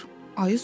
Ayı soruşdu.